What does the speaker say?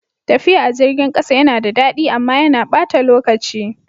Tafiya a jirgin ƙasa yana da daɗi amma yana ɓata lokaci.